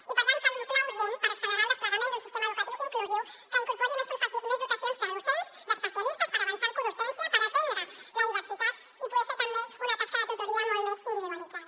i per tant cal un pla urgent per accelerar el desplegament d’un sistema educatiu inclusiu que incorpori més dotacions de docents d’especialistes per avançar en codocència per atendre la diversitat i poder fer també una tasca de tutoria molt més individualitzada